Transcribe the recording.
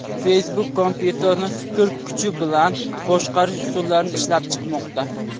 Facebook kompyuterni fikr kuchi bilan boshqarish usullarini ishlab chiqmoqda.